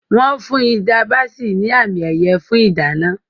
Wọ́n fún Hilda Baci ní àmì-ẹ̀yẹ fún ìdáná.